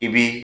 I bi